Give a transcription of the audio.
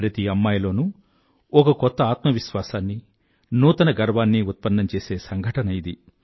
ప్రతి అమ్మాయిలోనూ ఒక కొత్త ఆత్మవిశ్వాసాన్నీ నూతన గర్వాన్నీ ఉత్పన్నం చేసే సంఘటన ఇది